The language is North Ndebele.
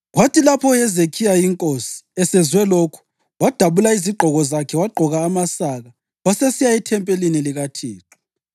Kwathi lapho uHezekhiya, inkosi, esezwe lokhu, wadabula izigqoko zakhe wagqoka amasaka, wasesiya ethempelini likaThixo.